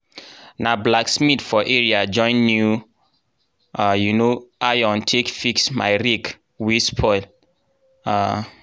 na blacksmith for area join new um iron take fix my rake wey spoil. um